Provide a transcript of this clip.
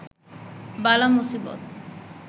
বালা মুসিবত